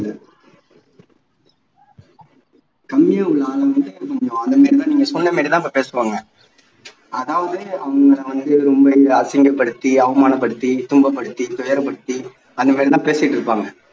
கம்மியா சொன்ன மாதிரி தான் இப்போ பேசுவாங்க அதாவது அவங்களை வந்து ரொம்ப அசிங்கப்படுத்தி அவமானப்படுத்தி துன்பப்படுத்தி துயரப்படுத்தி அந்த மாதிரியெல்லாம் பேசிட்டு இருப்பாங்க